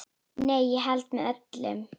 Nei, ég held með öllum.